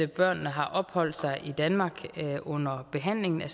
børnene har opholdt sig i danmark under behandlingen af